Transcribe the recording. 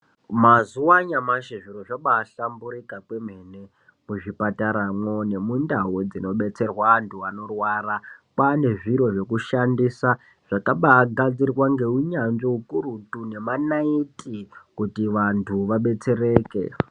Mszuva anyamashi zvinhu zvaabaa hlamburuka kwemene mene muzvipatara nemundau dzinobetsererwa vantu varikurwara ngekushandisa zvakabaagadzirwa ngeukurutu nemanaiti kuti antu abetsereke.